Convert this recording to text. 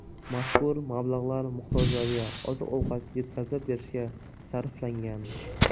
Mazkur mablag‘lar muhtojlarga oziq-ovqat yetkazib berishga sarflangan.